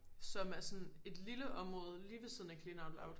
Som er sådan et lille område lige ved siden af clean out loud